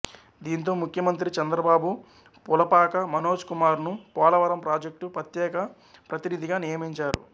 దీంతో ముఖ్యమంత్రి చంద్రబాబు పులపాక మనోజ్ కుమార్ ను పోలవరం ప్రాజెక్టు ప్రత్యేక ప్రతినిధిగా నియమించారు